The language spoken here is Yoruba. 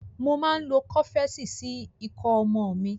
Mo máa ń lo Kọ́fẹ́sì sí ikọ́ ọmọ mi.